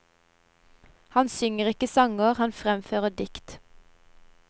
Han synger ikke sanger, han fremfører dikt.